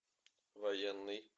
военный